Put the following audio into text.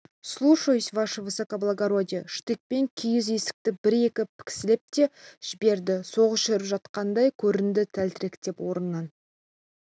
слушаюсь ваше высокоблагородие штыкпен киіз есікті бір-екі піскілеп те жіберді соғыс жүріп жатқандай көрінді тәлтіректеп орнынан